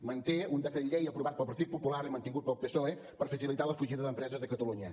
manté un decret llei aprovat pel partit popular i mantingut pel psoe per facilitar la fugida d’empreses de catalunya